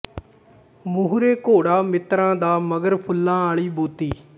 ਮੂਹਰੇ ਘੋੜਾ ਮਿੱਤਰਾਂ ਦਾ ਮਗਰ ਫੁੱਲਾਂ ਆਲ਼ੀ ਬੋਤੀ